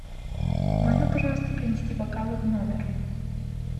можно пожалуйста принести бокалы в номер